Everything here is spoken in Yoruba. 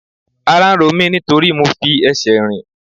Ara ń ro mí nítorí mo fi ẹsẹ̀ rìn.